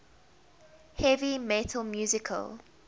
heavy metal musical